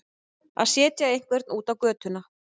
Að setja einhvern út á götuna